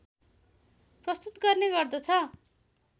प्रस्तुत गर्ने गर्दछ